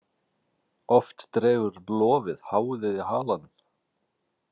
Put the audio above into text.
Oft dregur lofið háðið í halanum.